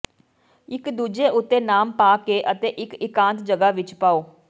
ਇਕ ਦੂਜੇ ਉੱਤੇ ਨਾਮ ਪਾ ਕੇ ਅਤੇ ਇਕ ਇਕਾਂਤ ਜਗ੍ਹਾ ਵਿਚ ਪਾਓ